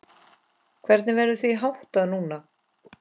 Hvernig verður því háttað núna?